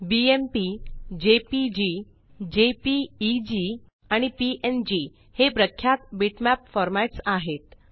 BMP JPG JPEG आणि PNG हे प्राख्यात बिटमॅप फॉर्मॅट्स आहे